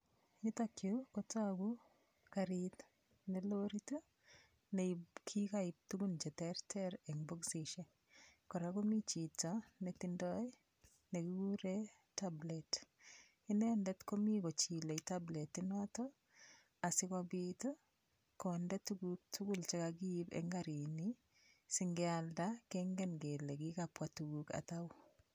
Yutokyu kotoku karit ne lorit nekikaib tukuk cheterter eng' bokisishek kora komi chito netindoi nekikure tablet inendet komi kochilei tabletinoto asikobit konde tukuk tugul chekakiip eng' karini singealda kengen kele kikapwa tukuk atau